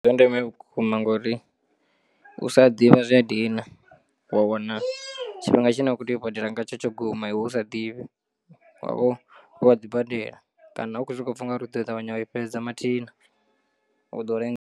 Ndi zwa ndeme vhukuma ngori u sa ḓivha zwi a dina wa wana tshifhinga tshine u kho tea u badela ngatsho tsho guma iwe usa ḓivhi wa vha u kha ḓi badela kana u khou sokou pfha u ngari uḓo ṱavhanya wa i fhedza mathina u ḓo lenga.